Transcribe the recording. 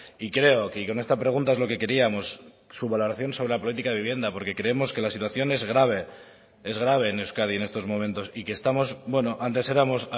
y creo que con esta pregunta es lo que queríamos su valoración sobre la política de vivienda porque creemos que la situación es grave es grave en euskadi en estos momentos y que estamos bueno antes éramos